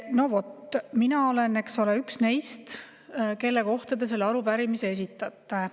No vot, mina olen üks neist, kelle kohta te selle arupärimise esitasite.